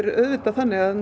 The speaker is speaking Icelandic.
er auðvitað þannig að